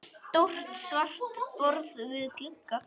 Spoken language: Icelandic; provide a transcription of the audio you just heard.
Stórt svart borð við glugga.